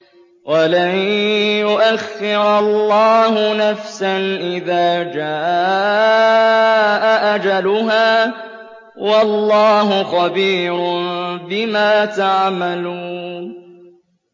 وَلَن يُؤَخِّرَ اللَّهُ نَفْسًا إِذَا جَاءَ أَجَلُهَا ۚ وَاللَّهُ خَبِيرٌ بِمَا تَعْمَلُونَ